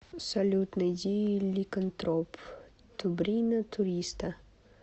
салют найди ликантроп тубрина туриста